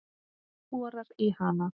Borar í hana.